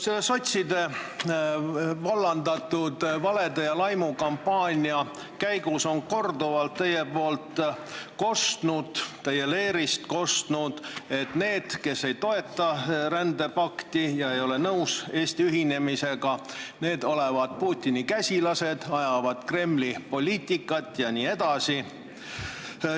Selle sotside vallandatud valede ja laimukampaania käigus on teie leerist korduvalt kostnud, et need, kes ei toeta rändepakti ja ei ole nõus Eesti ühinemisega, olevat Putini käsilased, ajavad Kremli poliitikat jne.